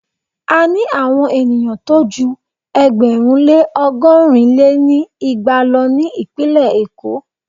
A ní àwon ènìyàn tó jú ẹgbẹ̀rún lé ọgọ́rin lé ní igba lọ ní ìpínlẹ̀ Èkó.